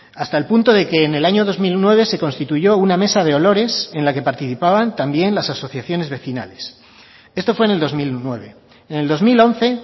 hasta el punto de que en el año dos mil nueve se constituyó una mesa de olores en la que participaban también las asociaciones vecinales esto fue en el dos mil nueve en el dos mil once